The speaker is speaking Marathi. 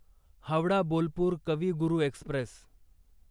हावडा बोलपूर कवी गुरू एक्स्प्रेस